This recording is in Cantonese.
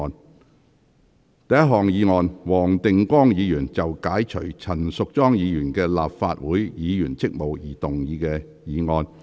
第一項議案：黃定光議員就解除陳淑莊議員的立法會議員職務動議的議案。